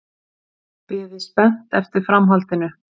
Biði spennt eftir framhaldinu.